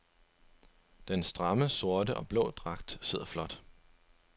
Den stramme sorte og blå dragt sidder flot.